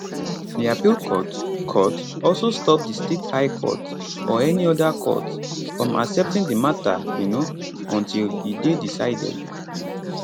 di appeal court court also stop di state high court or any oda court from accepting di mata um until e dey decided